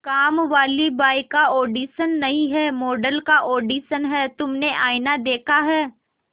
कामवाली बाई का ऑडिशन नहीं है मॉडल का ऑडिशन है तुमने आईना देखा है